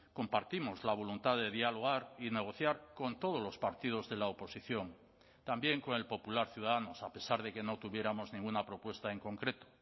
compartimos la voluntad de dialogar y negociar con todos los partidos de la oposición también con el popular ciudadanos a pesar de que no tuviéramos ninguna propuesta en concreto